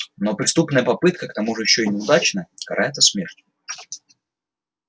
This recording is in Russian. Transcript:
но преступная попытка к тому же ещё и неудачная карается смертью